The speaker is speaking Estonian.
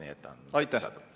Aitäh!